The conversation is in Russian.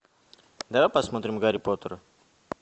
давай посмотрим гарри поттера